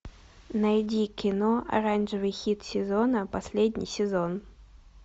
найди кино оранжевый хит сезона последний сезон